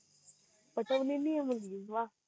पटवलेली ये मुलगी वाह्ह